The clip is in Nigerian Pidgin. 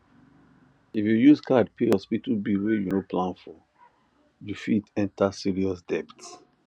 if you use card pay hospital bill wey you no plan foryou fit enter serious debt